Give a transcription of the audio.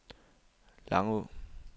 Langå